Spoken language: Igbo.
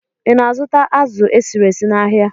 Ị na-azụta azụ̀ esiri esi n'ahịa?